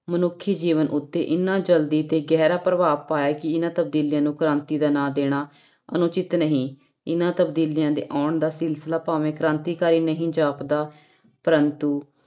ਮਨੁੱਖੀ ਜੀਵਨ ਉੱਤੇ ਇੰਨਾ ਜ਼ਲਦੀ ਤੇ ਗਹਿਰਾ ਪ੍ਰਭਾਵ ਪਾਇਆ ਕਿ ਇਹਨਾਂ ਤਬਦੀਲੀਆਂ ਨੂੰ ਕ੍ਰਾਂਤੀ ਦਾ ਨਾਂ ਦੇਣਾ ਅਨੁਚਿਤ ਨਹੀਂ ਇਹਨਾਂ ਤਬਦੀਲੀਆਂ ਦੇ ਆਉਣ ਦਾ ਸਿਲਸਿਲਾ ਭਾਵੇਂ ਕ੍ਰਾਂਤੀਕਾਰੀ ਨਹੀਂ ਜਾਪਦਾ ਪਰੰਤੂ